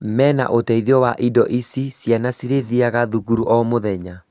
Mena ũteithio wa indo ici, ciana cirĩthiaga thukuru o,muthenya